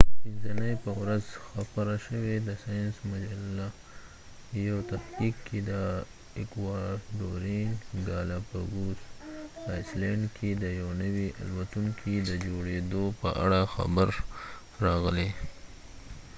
د پنځه نی په ورځ خپره شوی د ساینس مجلی یو تحقیق کی د اکوادورین ګالا پګوس ایسلنډ کی د یو نوی الوتونکی د جوړیدو په اړه خبر راغلی